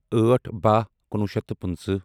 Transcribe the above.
أٹھ بہہ کُنوُہ شیتھ پنٕژٕہ